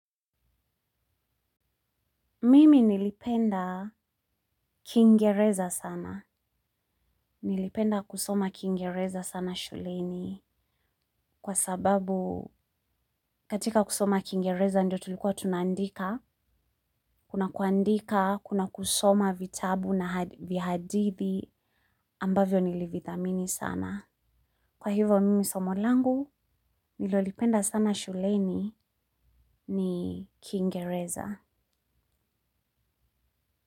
Mimi nilipenda kingereza sana, nilipenda kusoma kingereza sana shuleni kwa sababu katika kusoma kingereza ndio tulikuwa tunandika, kuna kuandika, kuna kusoma vitabu na vyahadithi ambavyo nilivithamini sana. Kwa hivo mimi somolangu, nilolipenda sana shuleni ni kingereza.